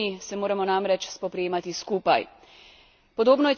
S skupnimi problemi se moramo namreč spoprijemati skupaj.